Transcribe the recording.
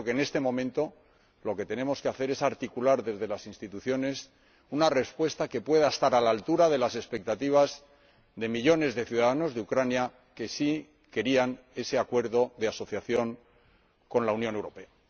Yo creo que en este momento lo que tenemos que hacer es articular desde las instituciones una respuesta que pueda estar a la altura de las expectativas de millones de ciudadanos de Ucrania que sí querían ese Acuerdo de Asociación con la Unión Europea.